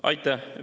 Aitäh!